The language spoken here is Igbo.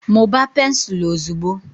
mụbaa pensụl ozugbo!